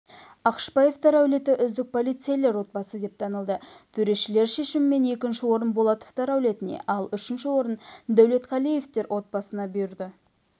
ақышбаевтар әулеті үздік полицейлер отбасы деп танылды төрешілер шешімімен екінші орын болатовтар әулетіне ал үшінші орын дәулетқалиевтер отбасына бұйырды